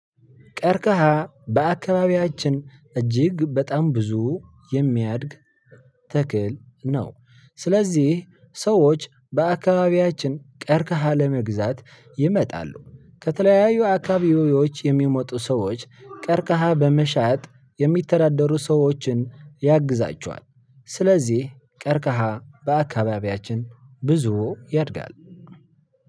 ቀርከሃ በአካባቢያችን እጅግ በጣም ብዙ የሚያድግ ተክል ነው። ስለዚህ ሰዎች በአካባቢያችን ቀርክሃ ለመግዛት ይመጣሉ ከተለያዩ አካባቢዎች የሚመጡ ሰዎች ቀርከሃ በመሻት የሚተዳደሩ ሰዎችን ያግዛቸዋል። ስለዚህ ቀርቀሃ በአካባቢያችን ብዙ ያድጋል።